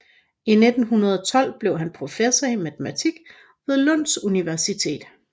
I 1912 blev han professor i matematik ved Lunds Universitetet